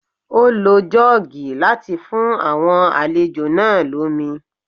Ó lo Jọ́ọ́gì láti fún àwọn àlejò náà lómi